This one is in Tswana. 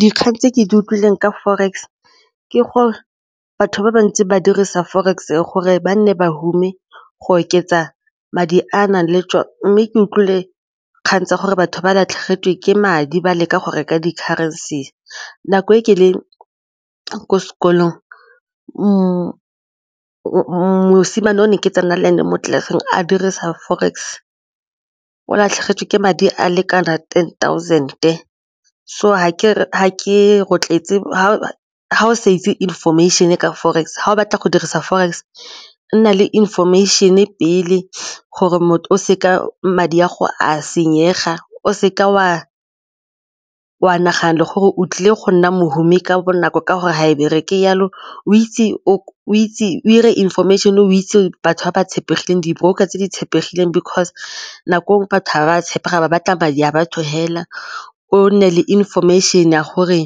Dikgang tse ke di utlwileng ka forex ke gore batho ba bantsi ba dirisa forex-e gore ba nne bahumanegi go oketsa madi a a nang le mme ke utlwile kgang tsa gore batho ba latlhegetswe ke madi ba leka go reka di ka francis nako e ke leng ko sekolong mosimane o ne ke tsena land mo tlelaseng a dirisa forex o latlhegetswe ke madi a lekanang ten thousand so ga ke rotloetse ga o sa itse information-e ka forex, ga o batla go dirisa forex nna le information pele gore o seka madi a go a senyega o seka o a wa naganne gore o tlile go nna mohumi ka bonako ka gore ga e bereke jalo, o itse o itse information, o itse batho ba ba tshepegileng, di-broker tse di tshepegile because nako e nngwe batho ga ba tshepega ga ba batla madi a batho fela o nne le information ya gore